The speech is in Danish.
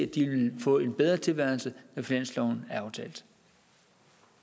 de vil få en bedre tilværelse når finansloven